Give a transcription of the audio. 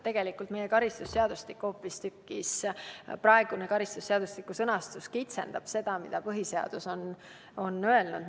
Tegelikult meie karistusseadustiku praegune sõnastus hoopistükkis kitsendab seda, mida põhiseadus on öelnud.